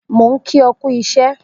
Mo n ki ọ kú iṣẹ